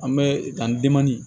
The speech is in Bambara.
An bɛ taa ni